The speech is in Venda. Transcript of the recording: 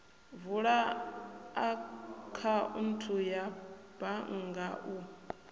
vula akhaunthu ya bannga u